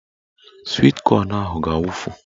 Swit kọn ahụ ga-awufu